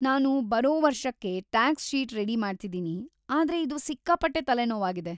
ನಾನು ಬರೋ ವರ್ಷಕ್ಕೆ ಟಾಕ್ಸ್‌ ಶೀಟ್‌ ರೆಡಿ ಮಾಡ್ತಿದೀನಿ, ಆದ್ರೆ ಇದು ಸಿಕ್ಕಾಪಟ್ಟೆ ತಲೆನೋವಾಗಿದೆ.